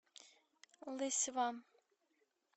лысьва